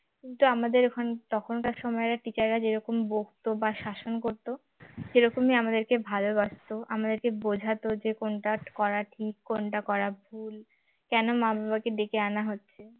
কিন্তু আমাদের ওখান তখনকার সময়ে teacher রা যেরকম বকত বা শাসন করতো সেরকমই আমাদেরকে ভালবাসত আমাদেরকে বোঝাত যে কোনটা করা ঠিক কোনটা করা ভুল কেন মা-বাবাকে ডেকে আনা হচ্ছে